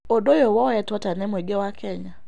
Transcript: Ũndũ ũyũ woyetwo atĩa nĩ mũingĩ wa Kenya?